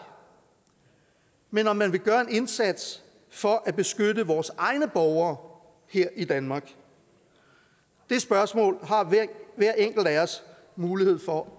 men om man vil gøre en indsats for at beskytte vores egne borgere her i danmark det spørgsmål har hver enkelt af os mulighed for